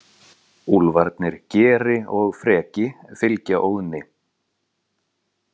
Úlfarnir Geri og Freki fylgja Óðni.